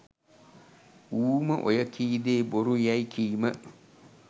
ඌම ඔය කී දේ බොරු යැයි කීම